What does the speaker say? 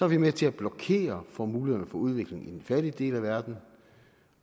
vi med til at blokere for mulighederne for udvikling i den fattige del af verden